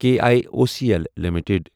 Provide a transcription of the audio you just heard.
K I O C L limited